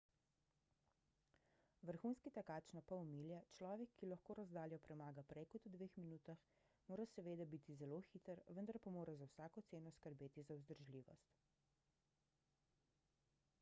vrhunski tekač na pol milje človek ki lahko razdaljo premaga prej kot v dveh minutah mora seveda biti zelo hiter vendar pa mora za vsako ceno skrbeti za vzdržljivost